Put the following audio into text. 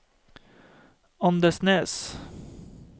Andenes